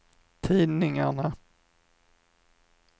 tidningarna